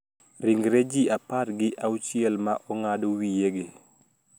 Ringre ji apar gi auchiel ma ong`ad wiyegi